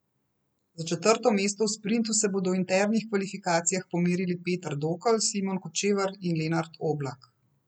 Za četrto mesto v sprintu se bodo v internih kvalifikacijah pomerili Peter Dokl, Simon Kočevar in Lenart Oblak.